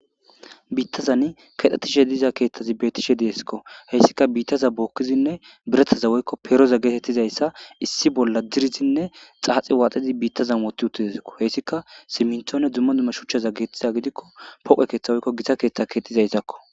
Biittazan kexxetishe deiiza keththezi de'eskko haysikka biittaza bokkidi birattaza issi bolla diriddine xaaxi waxxidi biitazan woththi uttideskko hessika simminttonne dumma dumma giddiko poqqe keththa woyko giita keththa gettetizayssako.